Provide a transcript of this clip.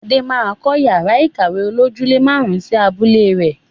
Adé máa kọ yàrá ìkàwé olojúle máarun sì abúlé rẹ.